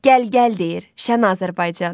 Gəl gəl deyir Şən Azərbaycan.